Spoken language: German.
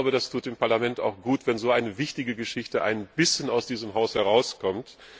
Das tut dem Parlament gut, wenn so eine wichtige Geschichte ein bisschen aus diesem Haus herauskommt.